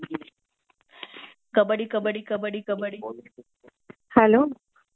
kabaddi kabaddi kabaddi kabaddi hello